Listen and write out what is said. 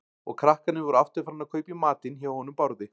Og krakkarnir voru aftur farnir að kaupa í matinn hjá honum Bárði.